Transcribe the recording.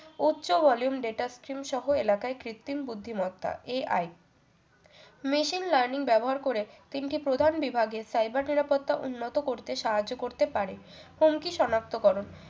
উচ্চ volume data stream সহ এলাকায় কৃত্রিম বুদ্ধিমত্তা AI machine learning ব্যবহার করে তিনটি প্রধান বিভাগের cyber নিরাপত্তা উন্নত করতে সাহায্য করতে পারে হুমকি সনাক্তকরণ